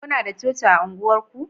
kuna da coci a unguwar ku?